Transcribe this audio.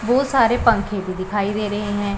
बहोत सारे पंखे भी दिखाई दे रहे हैं।